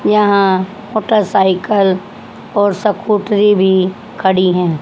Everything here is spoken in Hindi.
यहां मोटरसाइकिल और स्कूटरी भी खड़ी हैं।